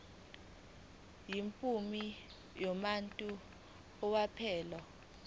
yimuphi umuntu owephula